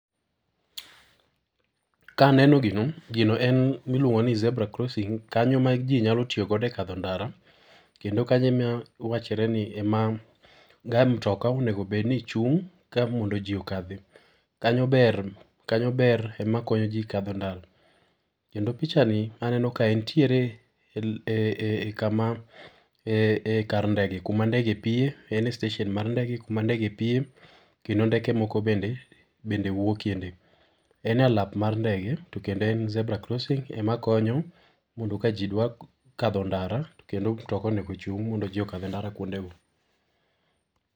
Ka aneno gino, gino en miluongo ni zebra crossing, kanyo ma ji nyalo tiyogo ekadho e ndara. Kendo kanyo ema wachore ema ga mtoka onego bedni chung' ka mondo ji okadhi. Kanyo ber, kanyo ber ema konyo ji kadho ndara. Kendo pichani, aneno ka entiere e-e-e kama e-e kar ndege kuma ndege piye ene station mar ndege kuma ndege piye kendo ndeke moko bende bende wuokieni. En e alap mar ndege, to kendo en zebra crossing ema konyo mondo ka ji dwa kadho ndara , to kendo mtoka onego ochung' mondo ji okadh ndara kuondego.